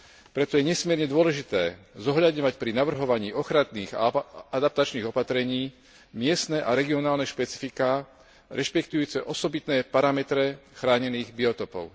Preto je nesmierne dôležité zohľadňovať pri navrhovaní ochranných a adaptačných opatrení miestne a regionálne špecifiká, rešpektujúce osobitné parametre chránených biotopov.